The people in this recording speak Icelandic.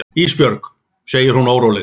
Ísbjörg, segir hún óróleg.